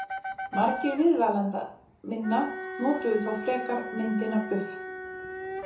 Margir viðmælenda minna notuðu þó frekar myndina buff.